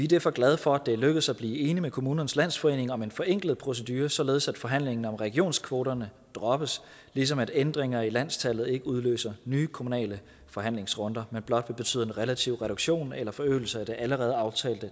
derfor glade for at det er lykkedes at blive enig med kommunernes landsforening om en forenklet procedure således at forhandlingen om regionskvoterne droppes ligesom at ændringer i landstallet ikke udløser nye kommunale forhandlingsrunder men blot vil betyde en relativ reduktion eller forøgelse af det allerede aftalte